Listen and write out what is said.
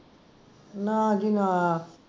ਨਾ ਜੀ ਨਾ